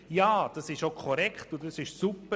Ja, und das ist auch korrekt und super.